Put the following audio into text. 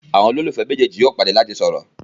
àwọn ololufẹ méjèèjì yóò pàdé lati sọrọ.